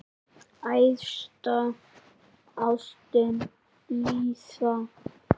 Æðsta ástin blíða!